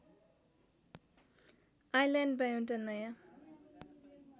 आइल्यान्डमा एउटा नयाँ